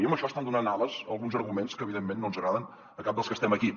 i amb això estan donant ales a alguns arguments que evidentment no ens agraden a cap dels que estem aquí